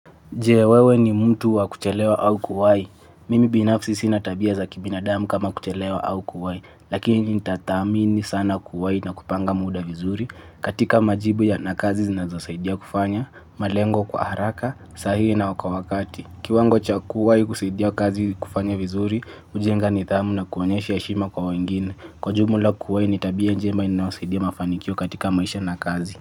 Je, wewe ni mtu wa kuchelewa au kuwahi. Mimi binafsi sina tabia za kibinadamu kama kuchelewa au kuwahi. Lakini nitatamini sana kuwahi na kupanga muda vizuri katika majibu ya na kazi zinazosaidia kufanya, malengo kwa haraka, sahihi na kwa wakati. Kiwango chakuwahi kusaidia kazi kufanya vizuri, hujenga nidhamu na kuonyesha heshima kwa wengine. Kwa jumla kuwahi ni tabia njema inazosaidia mafanikio katika maisha nakazi.